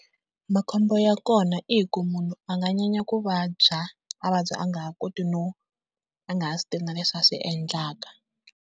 Makhombo ya kona i ku munhu a nga nyanya ku vabya, a vabya a nga ha koti no a nga ha swi tivi na leswi a swi endlaka.